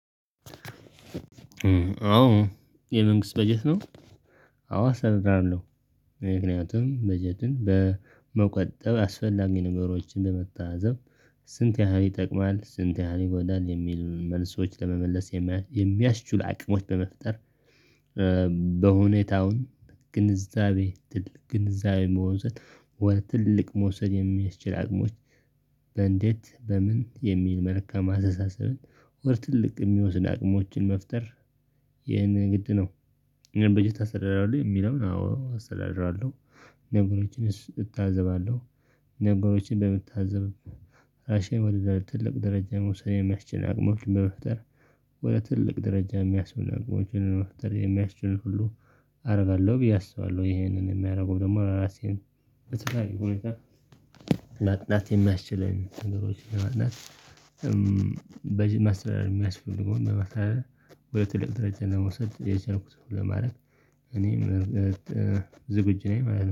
አዎ የመንግስት በጀት ነው። አዎ አሰራር አለው ምክንያቱም በጀትን በመቆጠብ አስፈላጊ ነገሮችን በመታዘብ ስንት ያህል ይጠቅማል ስንት ያህል ይጎዳል የሚል መልሶች ለመመለስ የሚያስችሉ አቅሞች በመፍጠር በሁኔታውን ግንዛቤ ግንዛቤ በመውሰድ ወደ ትልልቅ መውሰድ የሚያስችል አቅሞች በእንዴት በምን የሚል መልካም አስተሳሰብን ወደ ትልቅ የሚወስድ አቅሞችን መፍጠር ይህንን ግድ ነው። በጀት አስተዳድራለሁ የሚለውን አዎ አስተዳድራለሁ። ነገሮችን እታዘባለሁ ነገሮችን በመታዘብ አሸን ወደ ትልቅ ደረጃ መውሰድ የሚያስችል አቅሞችን በመፍጠር ወደ ትልቅ ደረጃ የሚያስቡን አቅሞችን በመፍጠር የሚያስችሉ ሁሉ አደርጋለሁ ብዬ አስባለሁ ይሄንን የሚያደርገው ደግሞ ራሴን በተለይ ሁኔታ ማጥናት የሚያስችለኝ አነስተኛ ማጥናት በዚህ መስራት የሚያስፈልገው እና በተለይ ወደ ትልቅ ድርጅት ለመውሰድ የቻልኩት ለማድረግ እኔም ዝግጁ ነኝ